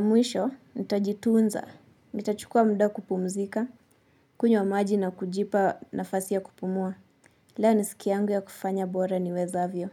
mwisho, nitajitunza nitachukua muda kupumzika, kunywa maji na kujipa nafasi ya kupumua. Leo ni siki yangu ya kufanya bora ni wezavyo.